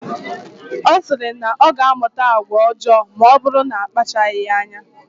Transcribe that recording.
Ọ sịrị na ọ ga-amụta agwa ọjọọ maọbụrụ na akpachaghi anya.